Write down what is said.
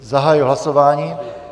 Zahajuji hlasování.